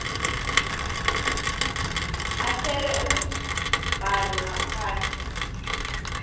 ahlele umbhalo ngaphandle